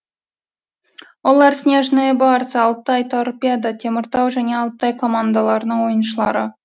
олар снежные барсы алтай торпедо теміртау және алтай командаларының ойыншылары